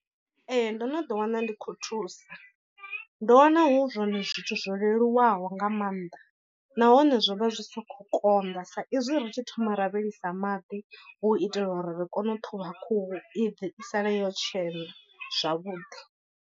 Ee ndo no ḓi wana ndi khou thusa, ndo wana hu zwone zwithu zwo leluwaho nga maanḓa, nahone zwo vha zwi si khou konḓa sa izwi ri tshi thoma ra vhilisa maḓi hu u itela uri ri kone u ṱhuvha khuhu i bve i sale yo tshena zwavhuḓi.